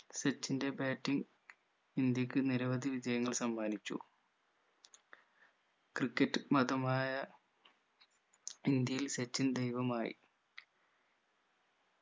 സച്ചിന്റെ batting ഇന്ത്യക്ക് നിരവധി വിജയങ്ങൾ സമ്മാനിച്ചു ക്രിക്കറ്റ് മതമായ ഇന്ത്യയിൽ സച്ചിൻ ദൈവമായി